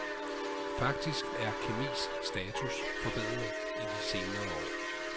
Faktisk er kemis status forbedret i de senere år.